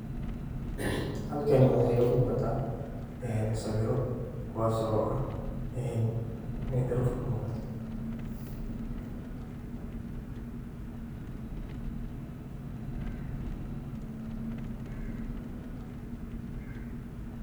Halkani waxa iga muqdo en sawiro kuwas ah inay dharuf kamuqata.